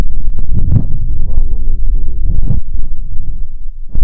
ивана мансуровича